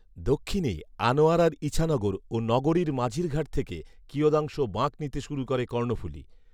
দক্ষিণে আনোয়ারার ঈছানগর ও নগরীর মাঝিরঘাট থেকে কিয়দাংশ বাঁক নিতে শুরু করে কর্ণফুলী